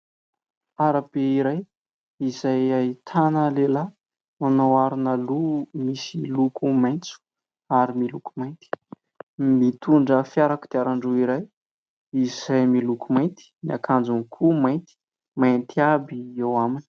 Arabe iray izay ahitana lehilahy manao aro loha misy loko maitso ary miloko mainty. Mitondra fiara kodiaran-droa iray izay miloko mainty. Ny akanjony koa mainty. Mainty aby eo aminy.